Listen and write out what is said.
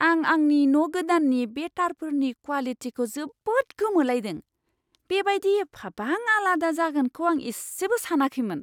आं आंनि न' गोदाननि बे तारफोरनि क्वालिटिखौ जोबोद गोमोलायदों। बेबायदि एफाबां आलादा जागोनखौ आं इसेबो सानाखैमोन!